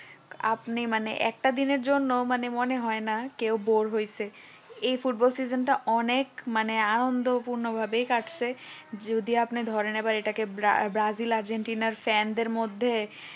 আপনি মানে একটা দিনের জন্য মানে মনে হয় না কেউ bore হয়েছে এই ফুটবল season টা অনেক মানে আনন্দপূর্ণ ভাবে কাটছে যদি আপনি ধরেন এবার এটাকে ব্রাজিল আর্জেন্টিনার fan দের মধ্যে